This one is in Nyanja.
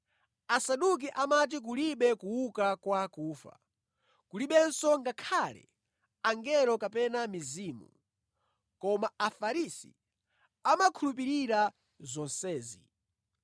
Asaduki amati kulibe kuuka kwa akufa, kulibenso ngakhale angelo kapena mizimu, koma Afarisi amakhulupirira zonsezi.